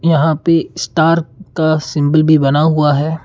यहां पे स्टार का सिंबल भी बना हुआ है।